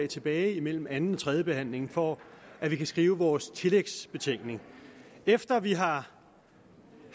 tilbage mellem anden og tredje behandling for at vi kan skrive vores tillægsbetænkning efter vi har